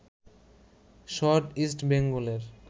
shot East বেঙ্গলের